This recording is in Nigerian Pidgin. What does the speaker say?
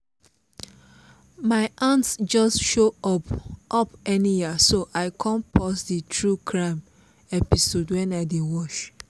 my aunt just show up up anyhow so i come pause the true crime episode wen i dey watch